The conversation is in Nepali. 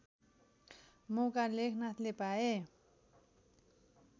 मौका लेखनाथले पाए